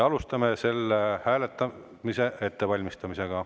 Alustame selle hääletamise ettevalmistamist.